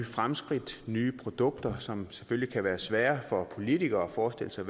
fremskridt nye produkter som selvfølgelig kan være svære for politikere at forestille sig